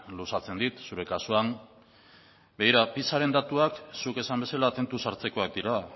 luzatzen dit zure kasuan begira pisaren datuak zuk esan bezala tentuz hartzekoak dira